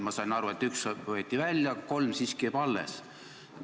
Ma sain aru, et üks võeti välja, aga kolm jäävad siiski alles.